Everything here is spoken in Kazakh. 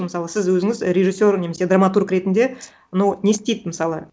мысалы сіз өзініз режиссер немесе драматург ретінде ну не істейді мысалы